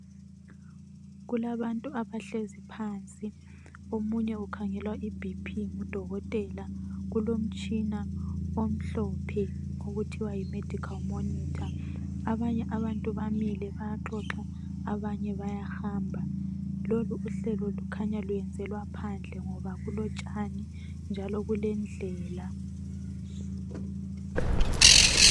Kulabantu abahlezi phansi, omunye ukhangelwa I BP ngudokotela , kulomtshina omhlophe okuthiwa yi medical monitor ,abanye abantu bamile bayaxoxa, abanye bayahamba ,lolu uhlelo lukhanya lwenzelwa phandle ngoba kulotshani njalo kulendlela